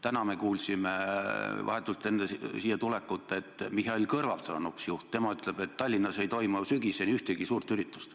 Täna me kuulsime vahetult enne siia tulekut, et hoopis Mihhail Kõlvart on juht, tema ütleb, et Tallinnas ei toimu sügisel ühtegi suurt üritust.